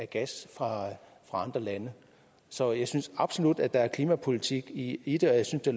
gas fra andre lande så jeg synes absolut at der er klimapolitik i i det og jeg synes det